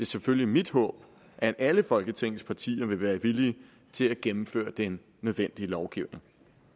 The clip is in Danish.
selvfølgelig mit håb at alle folketingets partier vil være villige til at gennemføre den nødvendige lovgivning